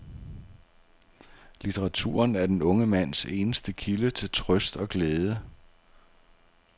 Litteraturen er den unge mands eneste kilde til trøst og glæde.